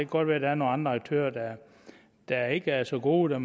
godt være der er nogle andre aktører der ikke er så gode og